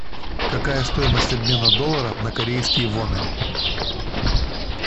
какая стоимость обмена доллара на корейские воны